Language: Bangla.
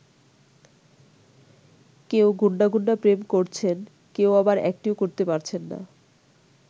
কেউ গণ্ডা গণ্ডা প্রেম করছেন কেউ আবার একটিও করতে পারছেন না।